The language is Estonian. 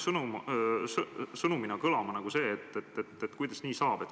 Sõnumina on jäänud kõlama, et kuidas nii saab.